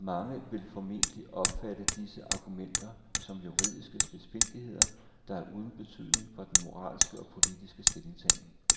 Mange vil formentlig opfatte disse argumenter som juridiske spidsfindigheder, der er uden betydning for den moralske og politiske stillingtagen.